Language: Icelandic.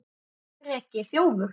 Breki: Þjófur?